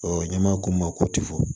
n'i m'a ko ma ko tifoyi